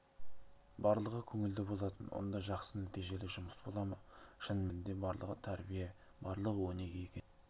барлығы көңілді болатын онда жақсы нәтижелі жұмыс бола ма шын мәнінде барлығы тәрбие барлығы өнеге екен